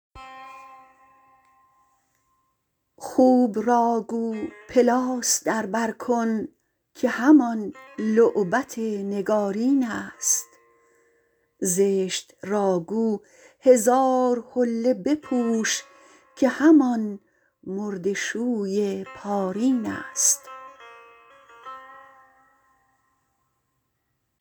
خوب را گو پلاس در بر کن که همان لعبت نگارینست زشت را گو هزار حله بپوش که همان مرده شوی پارینست